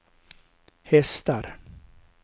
hästar